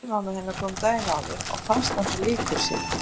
Tengdamamma hennar kom daginn áður og fannst hann svo líkur sér.